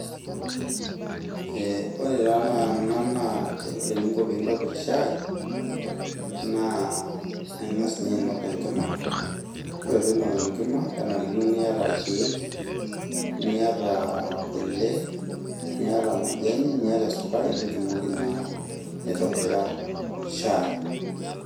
Aa ore taa ena naa shai. Naa ore eninko pintobir shai naa ingas ninye ainok enkima , ore pinok enkima kenarikino niata irkiek kule , niata majani niata sukari pitumoki naa aitobira shai.